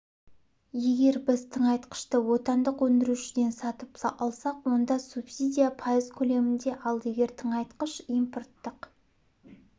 егер біз тыңайтқышты отандық өндірушіден сатып алсақ онда субсидия пайыз көлемінде ал егер тыңайтқыш импорттық